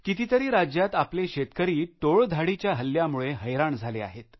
कितीतीरी राज्यात आपले शेतकरी टोळधाडीच्या हल्ल्यामुळे हैराण झाले आहेत